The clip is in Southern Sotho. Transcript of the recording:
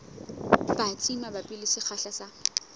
batsi mabapi le sekgahla sa